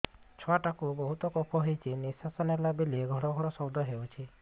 ଛୁଆ ଟା କୁ ବହୁତ କଫ ହୋଇଛି ନିଶ୍ୱାସ ନେଲା ବେଳେ ଘଡ ଘଡ ଶବ୍ଦ ହଉଛି